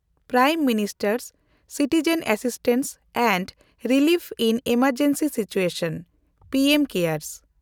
prime minister citizen assistance and relief in emergency situation (P M cares)